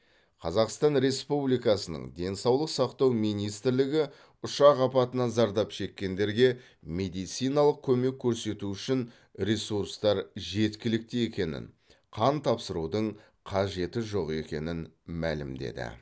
қазақстан республикасының денсаулық сақтау министрлігі ұшақ апатынан зардап шеккендерге медициналық көмек көрсету үшін ресурстар жеткілікті екенін қан тапсырудың қажеті жоқ екенін мәлімдеді